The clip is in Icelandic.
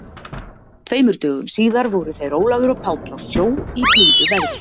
Tveimur dögum síðar voru þeir Ólafur og Páll á sjó í blíðu veðri.